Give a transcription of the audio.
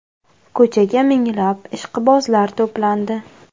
Ko‘chaga minglab ishqibozlar to‘plandi.